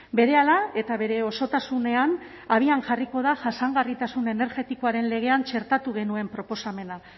berehala eta bere osotasunean abian jarriko da jasangarritasun energetikoaren legean txertatu genuen proposamena